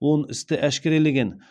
он істі әшкерелеген